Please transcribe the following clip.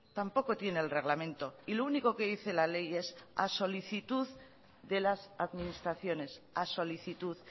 tampoco tiene el reglamento y lo único que dice la ley es a solicitud de las administraciones a solicitud